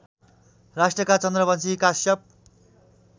राज्यका चन्द्रवंशी काश्यप